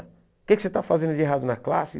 O que que você está fazendo de errado na classe?